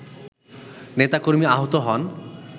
নেতাকর্মী আহত হন